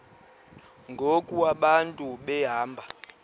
ngoku abantu behamba